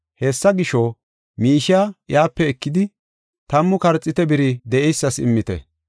Hessa gisho, miishiya iyape ekidi, tammu karxiite biri de7eysas immite.